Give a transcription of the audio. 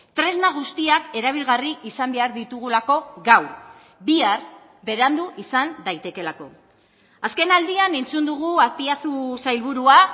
tresna guztiak erabilgarri izan behar ditugulako gaur bihar berandu izan daitekeelako azken aldian entzun dugu azpiazu sailburua